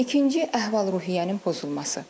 İkinci əhval-ruhiyyənin pozulması.